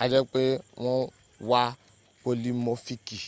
a je pe won wa polimofiki